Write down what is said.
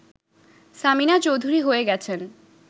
সামিনা চৌধুরী হয়ে গেছেন